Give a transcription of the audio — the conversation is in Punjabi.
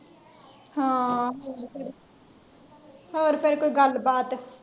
ਹਾਂ ਹੋਰ ਕਰ ਕੋਇ ਗੱਲਬਾਤ।